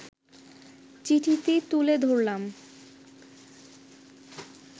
চিঠিটি তুলে ধরলাম